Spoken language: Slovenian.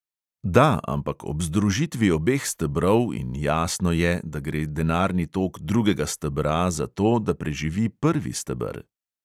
Da, ampak ob združitvi obeh stebrov in jasno je, da gre denarni tok drugega stebra za to, da preživi prvi steber.